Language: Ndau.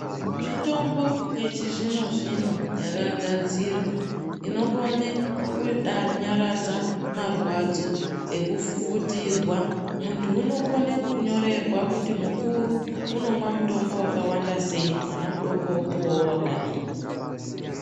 Mitombo yechizvino zvino yakagadzirwa inokone kunyaradza marwadzo ekufufutirwa, muntu unokone kunyorwera kuti mukuru unomwa mutombo wakawanda sei, mwana mudoko wopuwawo wakadii.